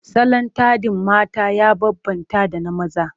Salon taɗin mata ya bambanta da na maza.